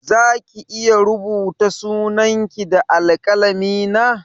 Zaki iya rubuta sunan ki da alƙalami na?